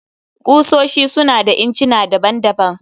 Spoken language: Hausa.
Ƙusoshi su na da incina daban-daban